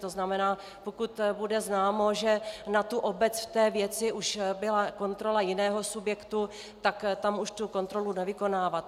To znamená, pokud bude známo, že na tu obec v té věci už byla kontrola jiného subjektu, tak tam už tu kontrolu nevykonávat.